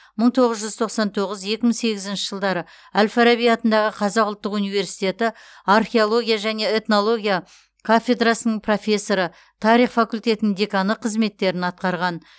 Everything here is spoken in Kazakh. мың тоғыз жүз тоқсан тоғыз екі мың сегізінші жылдары әл фараби атындағы қазақ ұлттық университеті археология және этнология кафедрасының профессоры тарих факультетінің деканы қызметтерін атқарған